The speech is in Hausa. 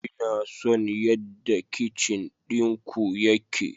Ina son yadda kicin ɗinku yake.